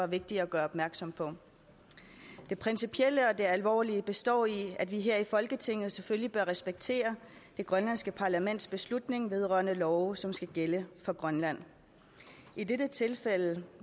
vigtige at gøre opmærksom på det principielle og alvorlige består i at vi her i folketinget selvfølgelig bør respektere det grønlandske parlaments beslutning vedrørende love som skal gælde for grønland i dette tilfælde